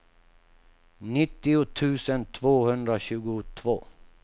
nittio tusen tvåhundratjugotvå